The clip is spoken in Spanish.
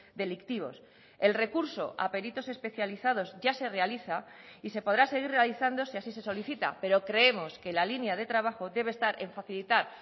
delictivos el recurso a peritos especializados ya se realiza y se podrá seguir realizando si así se solicita pero creemos que la línea de trabajo debe estar en facilitar